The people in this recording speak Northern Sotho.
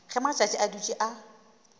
ge matšatši a dutše a